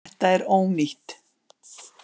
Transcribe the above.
Þetta er ónýtt.